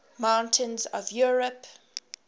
mountains of europe